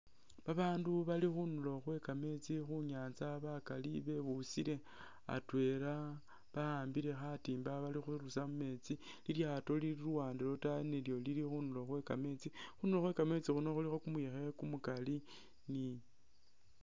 Babaandu bali khundulo khwe kameesti khunyanza bakali bebusile atwela bawambile khatimba bali khurusa mumeetsi, lilyaato lili luwande lwataayi nalyo lili khundulo khwe kameesti, khundulo khwe kameetsi khuno khulikho kumuyekhe kumukali ni